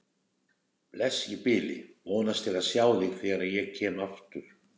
Bless í bili, vonast til að sjá þig þegar ég kem aftur